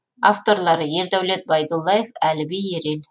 авторлары ердәулет байдуллаев әліби ерел